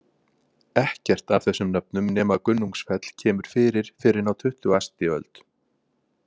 Ekkert af þessum nöfnum nema Gunnungsfell kemur fyrir fyrr en á tuttugasti öld.